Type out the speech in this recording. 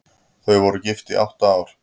Þau voru gift í átta ár.